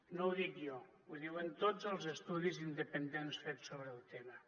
no ho dic jo ho diuen tots els estudis independents fets sobre el tema